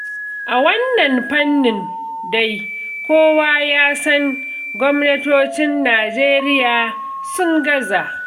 A wannan fannin dai, kowa ya san gwamnatocin Najeriya sun gaza.